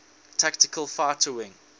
tactical fighter wing